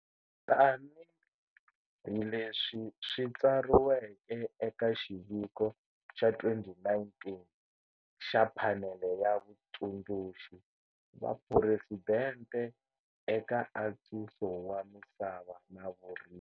Tanihi leswi swi tsariweke eka xiviko xa 2019 xa Phanele ya Vatsundzuxi va Phuresidente eka Antswiso wa Misava na Vurimi.